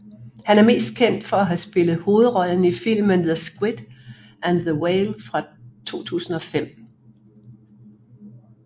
Han er mest kendt for at have spillet hovedrollen i filmen The Squid and the Whale fra 2005